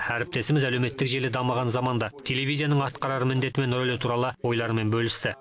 әріптесіміз әлеуметтік желі дамыған заманда телевизияның атқарар міндеті мен рөлі туралы ойларымен бөлісті